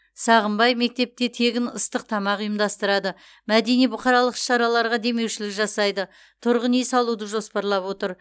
сағынбай мектепте тегін ыстық тамақ ұйымдастырады мәдени бұқаралық іс шараларға демеушілік жасайды тұрғын үй салуды жоспарлап отыр